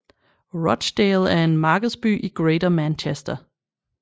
Rochdale er en markedsby i Greater Manchester